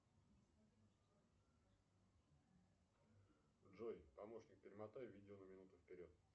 джой помощник перемотай видео на минуту вперед